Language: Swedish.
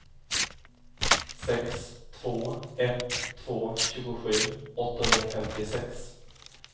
sex två ett två tjugosju åttahundrafemtiosex